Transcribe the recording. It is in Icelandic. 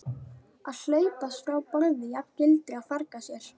Að hlaupast frá borði jafngildir að farga sér.